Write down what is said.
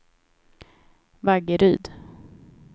Vaggeryd